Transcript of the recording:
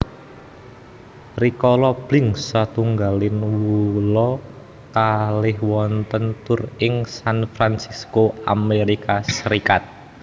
Rikala Blink setunggal wolu kalih wontèn tur ing San Fransisco Amérika Sarékat